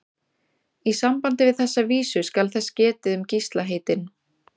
Í sambandi við þessa vísu skal þess getið um Gísla heitinn